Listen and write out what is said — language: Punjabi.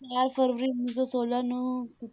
ਫਰਵਰੀ ਉੱਨੀ ਸੌ ਛੋਲਾਂ ਨੂੰ